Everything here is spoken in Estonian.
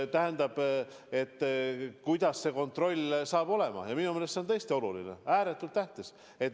Tähendab, kuidas see kontroll saab olema, on minu meelest tõesti oluline, ääretult tähtis.